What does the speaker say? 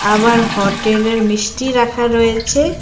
আবার হটেলের মিষ্টি রাখা রয়েচে।